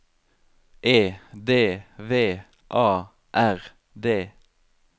E D V A R D